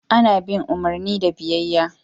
Ana bin umarni da biyayya.